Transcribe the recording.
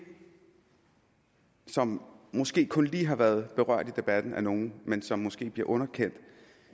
som måske kun lige har været berørt i debatten af nogle men som måske bliver underkendt